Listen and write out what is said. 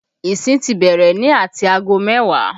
Ìsìn ti bẹ̀rẹ̀ ní ati aago mẹ́wàá